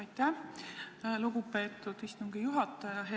Aitäh, lugupeetud istungi juhataja!